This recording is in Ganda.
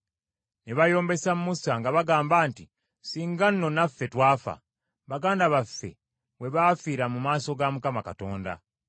Ne bayombesa Musa nga bagamba nti, “Singa nno naffe twafa, baganda baffe bwe baafiira mu maaso ga Mukama Katonda!